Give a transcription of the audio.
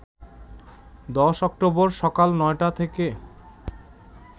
১০ October সকাল ৯টা থেকে